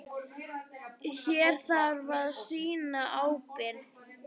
Hér þarf að sýna ábyrgð.